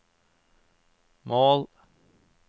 mål